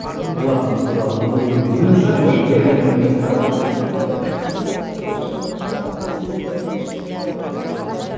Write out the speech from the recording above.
і олардың біз туралы не ойлайтынын білу үшін бірақ норвегия білесіндер ме бізде і где то бес жыл бұрын ба біздегі елшілігін жауып кетіп қалды ғой